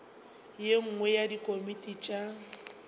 ye nngwe ya dikomiti tša